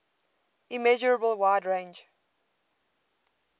immeasurable wide range